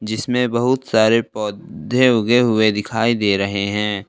जिसमें बहुत सारे पौधे उगे हुए दिखाई दे रहे हैं।